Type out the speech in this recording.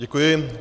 Děkuji.